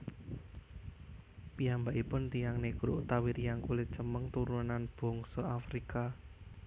Piyambakipun tiyang négro utawi tiyang kulit cemeng turunan bangsa Afrika